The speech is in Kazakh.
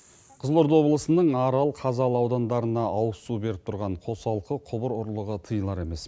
қызылорда облысының арал қазалы аудандарына ауызсу беріп тұрған қосалқы құбыр ұрлығы тыйылар емес